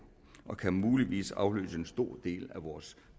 og kan muligvis afløse en stor del af vores